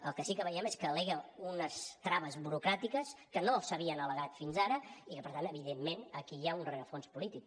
el que sí que veiem és que al·lega unes traves burocràtiques que no s’havien al·legat fins ara i que per tant evidentment aquí hi ha un rerefons polític